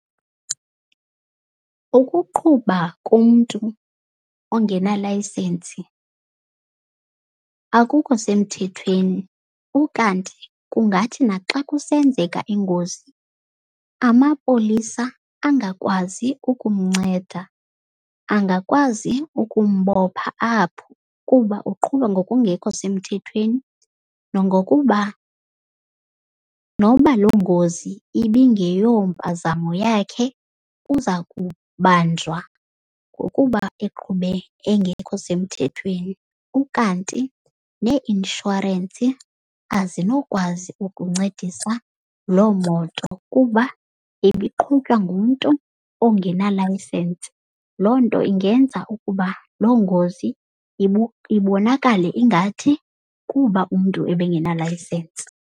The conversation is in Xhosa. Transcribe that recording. Ukuqhuba komntu ongenalayisensi akukho semthethweni. Ukanti kungathi naxa kusenzeka ingozi amapolisa angakwazi ukumnceda. Angakwazi ukumbopha apho kuba uqhuba ngokungekho semthethweni. Nongokuba noba loo ngozi ibingeyompazamo yakhe uza kubanjwa ngokuba eqhube engekho semthethweni. Ukanti nee-inshorensi azinokwazi ukuncedisa loo moto kuba ibiqhutywa ngumntu ongenalayisensi. Loo nto ingenza ukuba loo ngozi ibonakale ingathi kuba umntu ebengenalayisensi.